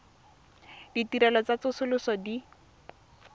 ditirelo tsa tsosoloso tse di